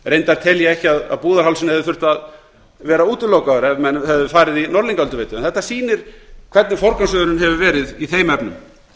reyndar tel ég ekki að búðarhálsinn hefði þurft að vera útilokaður ef menn hefðu farið í norðlingaölduveitu en þetta sýnir hvernig forgangsröðunin hefur verið í þeim efnum